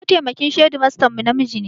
Mataimakin shedimastan mu namiji ne